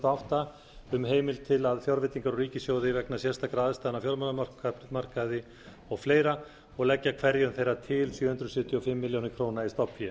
átta um heimild til fjárveitingar úr ríkissjóði vegna sérstakra aðstæðna á fjármálamarkaði og fleiri og leggja hverju þeirra til sjö hundruð sjötíu og fimm milljónir króna í stofnfé